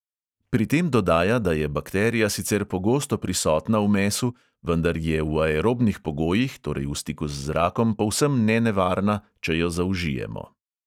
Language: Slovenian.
Pri tem dodaja, da je bakterija sicer pogosto prisotna v mesu, vendar je v aerobnih pogojih, torej v stiku z zrakom, povsem nenevarna, če jo zaužijemo.